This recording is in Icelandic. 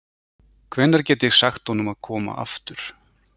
Hvenær get ég sagt honum að koma aftur?